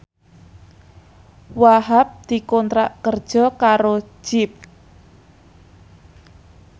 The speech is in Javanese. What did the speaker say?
Wahhab dikontrak kerja karo Jeep